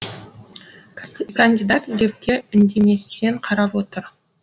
кандидат глебке үндеместен қарап отыр